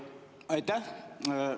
Aitäh!